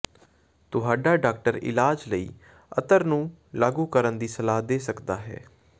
ਤੁਹਾਡਾ ਡਾਕਟਰ ਇਲਾਜ਼ ਲਈ ਅਤਰ ਨੂੰ ਲਾਗੂ ਕਰਨ ਦੀ ਸਲਾਹ ਦੇ ਸਕਦਾ ਹੈ